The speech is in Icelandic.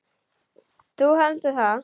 Þú heldur það?